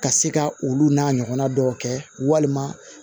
Ka se ka olu n'a ɲɔgɔnna dɔw kɛ walima